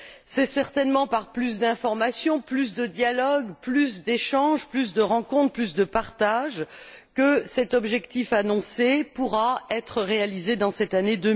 C'est certainement par plus d'informations, plus de dialogue, plus de rencontres, plus d'échanges, plus de partage que cet objectif annoncé pourra être réalisé en cette année